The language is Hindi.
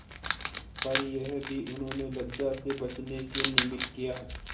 पर यह भी उन्होंने लज्जा से बचने के निमित्त किया